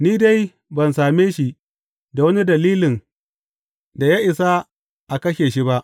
Ni dai ban same shi da wani dalilin da ya isa a kashe shi ba.